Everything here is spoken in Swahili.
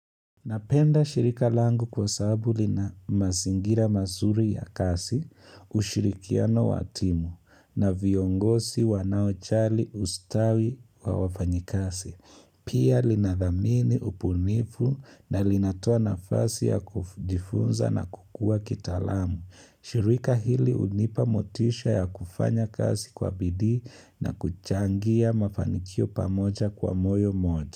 Napenda shirika langu kwa sababu lina mazingira mazuri ya kazi, ushirikiano wa timu, na viongozi wanaojali ustawi wa wafanyikazi. Pia linadhamini ubunifu na linatoa nafasi ya kujifunza na kukua kitalamu. Shirika hili hunipa motisha ya kufanya kazi kwa bidii na kuchangia mafanikio pamoja kwa moyo moja.